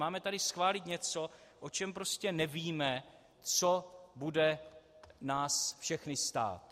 Máme tady schválit něco, o čem prostě nevíme, co bude nás všechny stát.